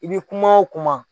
I bɛ kuma o kuma